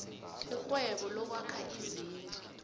irhwebo lokwakha izindlu